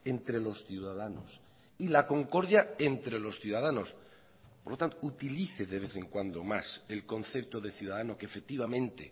entre los ciudadanos y la concordia entre los ciudadanos por lo tanto utilice de vez en cuando más el concepto de ciudadano que efectivamente